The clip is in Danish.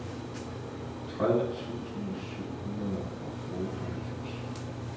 tredive tusind syv hundrede og otteoghalvfems